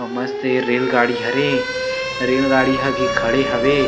और मस्त ये रेल गाड़ी हरे रेल गाड़ी ह भी खड़े हवे --